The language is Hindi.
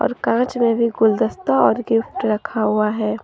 कांच में भी गुलदस्ता और गिफ्ट रखा हुआ है।